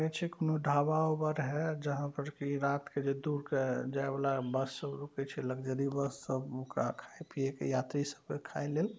कोनो ढाबा ओबा रहे जहाँ पर की रात के जे दूर के जाय वाला बस सब रुकै छै लग्जरी बस सब ओकरा खाय पिये के यात्री सबके खाय लेल।